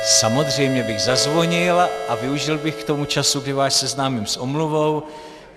Samozřejmě bych zazvonil a využil bych k tomu čas, kdy vás seznámím s omluvou.